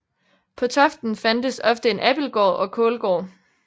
På toften fandtes ofte en abildgård og kålgård